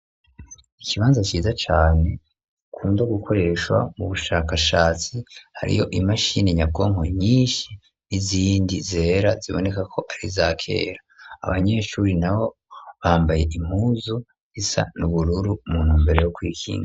Ikibanza ciza cane gikunda gukoreshwa mu bushakashatsi ,hariyo i mashini nyabwonko nyinshi n'izindi zera zibonekako ari za kera ,abanyeshuri nabo bambaye impuzu isa n'ubururu mu ntumbero yo kwikinga.